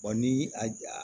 ni a